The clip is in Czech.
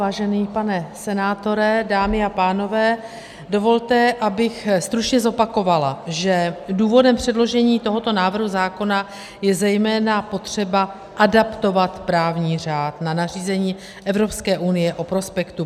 Vážený pane senátore, dámy a pánové, dovolte, abych stručně zopakovala, že důvodem předložení tohoto návrhu zákona je zejména potřeba adaptovat právní řád na nařízení Evropské unie o prospektu.